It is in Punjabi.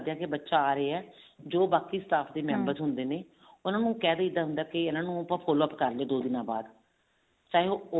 ਕੇ ਬੱਚਾ ਆ ਰਿਹਾ ਜੋ ਬਾਕੀ staff ਦੇ member ਹੁੰਦੇ ਨੇ ਉਹਨਾ ਨੂੰ ਕਿਹ ਦਈਦਾ ਹੁੰਦਾ ਕੀ ਇਹਨਾ ਨੂੰ ਆਪਾਂ follow up ਕਰਾਂਗੇ ਦੋ ਦਿਨਾ ਬਾਅਦ